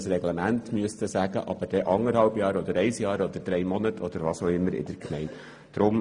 Die Gemeinden sollen nicht über eineinhalb Jahre, ein Jahr, drei Monate oder was auch immer entscheiden müssen.